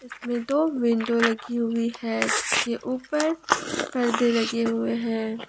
इसमें दो विंडो लगी हुई है जिसके ऊपर परदे लगे हुए हैं।